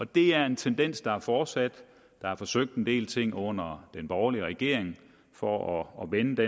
det er en tendens der er fortsat der er forsøgt en del ting under den borgerlige regering for at vende det